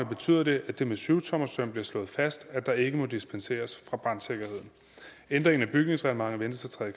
betyder det at det med syvtommersøm bliver slået fast at der ikke må dispenseres fra brandsikkerheden ændringen af bygningsreglementet ventes at træde